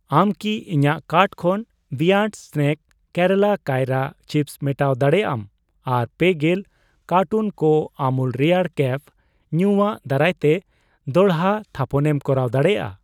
ᱟᱢ ᱠᱤ ᱤᱧᱟᱜ ᱠᱟᱨᱴ ᱠᱷᱚᱱ ᱵᱤᱭᱚᱱᱰ ᱥᱱᱮᱠ ᱠᱮᱨᱟᱞᱟ ᱠᱟᱭᱨᱟ ᱪᱤᱯᱥ ᱢᱮᱴᱟᱣ ᱫᱟᱲᱮᱭᱟᱜ ᱟᱢ ᱟᱨ ᱯᱮᱜᱮᱞ ᱠᱟᱨᱴᱩᱱ ᱠᱚ ᱟᱢᱩᱞ ᱨᱮᱭᱟᱲ ᱠᱮᱯᱷ ᱧᱩᱭᱟᱜ ᱫᱟᱨᱟᱭᱛᱮ ᱫᱚᱲᱦᱟ ᱛᱷᱟᱯᱚᱱᱮᱢ ᱠᱚᱨᱟᱣ ᱫᱟᱲᱮᱭᱟᱜᱼᱟ ᱾